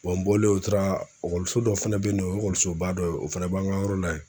n bɔlen u taara dɔ fɛnɛ be yen nɔ, o ye ekɔlisoba dɔ ye o fana b'an ka yɔrɔ la yen